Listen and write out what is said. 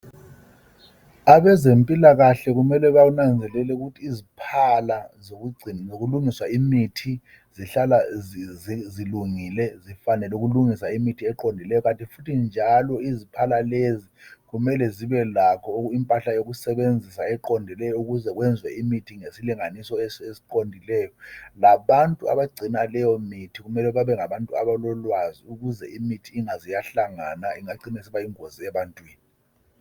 Abezempilakahle kumele benanzelele ukuthi iziphala zokungcina kulungiswa imithi zihlala zilungile kanye lokulungisa imithi eqondileyo kanti futhi njalo iziphala lezi kumele zibe lakho impahla yokusebenzisa eqondileyo ukuze kwenziwe imithi ngesilinganiso esiqondileyo labantu abangcina leyo mithi kumele bebengabantu abalolwazi ukuze imithi ingaze yahlangana ingacina isiba yingozi ebantwini.